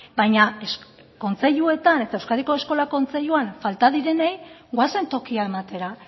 baina kontseiluetan eta euskadiko eskola kontseiluan falta direnei goazen tokia ematera